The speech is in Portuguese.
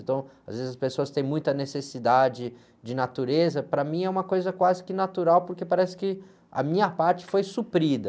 Então, às vezes as pessoas têm muita necessidade de natureza, para mim é uma coisa quase que natural, porque parece que a minha parte foi suprida.